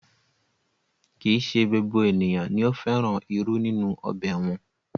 Kì í se gbogbo ènìyàn ni ó fẹ́ràn irú nínú ọbẹ̀ wọn